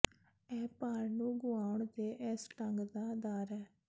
ਇਹ ਭਾਰ ਨੂੰ ਗੁਆਉਣ ਦੇ ਇਸ ਢੰਗ ਦਾ ਆਧਾਰ ਹੈ